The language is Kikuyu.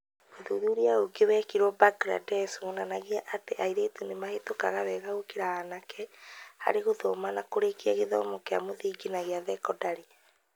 ũthuthuria ũngĩ wekirũo Mbangirandesh wonanagia atĩ airĩtu nĩ mahetũka wega gũkĩra anake harĩ gũthoma na kũrĩkia gĩthomo kĩa mũthingi na gĩa thekondarĩ.